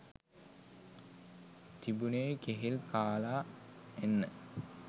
තිබුනෙ කෙහෙල් කාල එන්න.